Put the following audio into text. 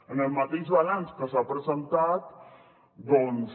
en el mateix balanç que s’ha presentat doncs